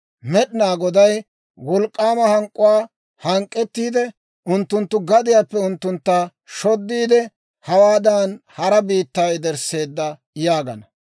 Med'inaa Goday wolk'k'aama hank'k'uwaa hank'k'ettiide, unttunttu gadiyaappe unttuntta shoddiide, hawaadan hara biittaa yedersseedda› yaagana.